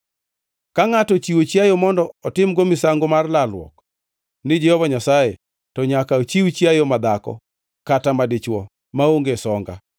Ka ngʼato ochiwo chiayo mondo otim-go misango mar lalruok ni Jehova Nyasaye, to nyaka ochiw chiayo madhako kata madichwo maonge songa.